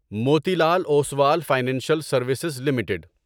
Moti Lal Oswal financial services limited